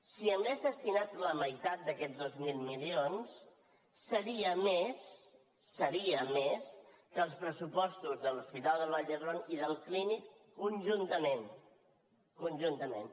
si n’hagués destinat la meitat d’aquests dos mil milions seria més seria més que els pressupostos de l’hospital del vall d’hebron i del clínic conjuntament conjuntament